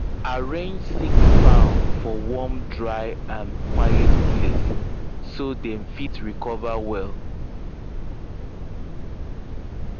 arrange sick fowl for warm dry and quiet place so dem fit recover well